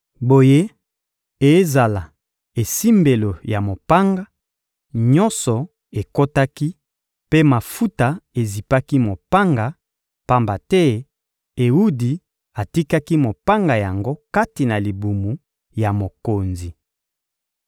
Boye, ezala esimbelo ya mopanga, nyonso ekotaki, mpe mafuta ezipaki mopanga; pamba te Ewudi atikaki mopanga yango kati na libumu ya mokonzi.